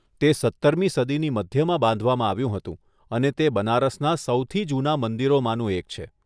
તે સત્તરમી સદીની મધ્યમાં બાંધવામાં આવ્યું હતું અને તે બનારસના સૌથી જૂના મંદિરોમાંનું એક છે.